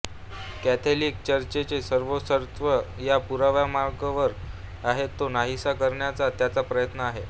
Catholic चर्चचे सर्वेसर्वा या पुराव्याच्या मागावर आहेत तो नाहीसा करण्याचा त्यांचा प्रयत्न आहे